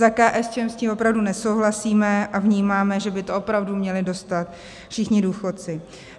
Za KSČM s tím opravdu nesouhlasíme a vnímáme, že by to opravdu měli dostat všichni důchodci.